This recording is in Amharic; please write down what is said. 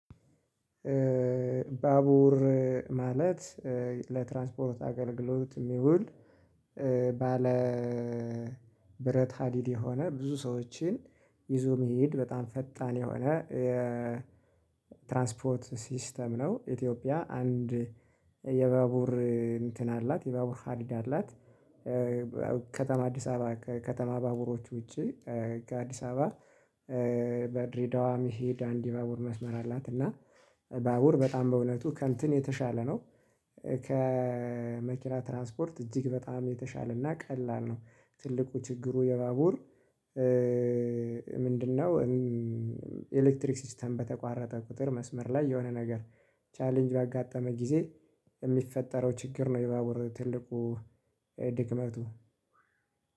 ባቡር ማለት ለትራንስፖርት አገልግሎት የሚውል እ ባ ለ ብረት ሀዲድ የሆነ ብዙ ሰዎችን ይዞ መሄድ በጣም ፈጣን የሆነ የ ትራንስፖርት ሲስተም ነው። ኢትዮጵያ አንድ የባቡር እንትን አላት የባቡር ሀዲድ አላት። እ ከተማ አዲስ አበባ ከተማ ባቡሮች ውጪ ካዲሳባ እ በድሬዳዋ መሄድ አንድ የባቡር መስመር አላት። እና ባቡር በጣም በእውነቱ ከእንትን የተሻለ ነው። ከመኪና ትራንስፖርት እጅግ በጣም የተሻለና ቀላል ነው። ትልቁ ችግሩ የባቡር እ ምንድነው? ኤሌክትሪክ ሲስተም በተቋረጠ ቁጥር መስመር ላይ የሆነ ነገር ቻሌንጅ ባጋጠመ ጊዜ የሚፈጠረው ችግር ነው። የባቡር ትልቁ ድክመቱ።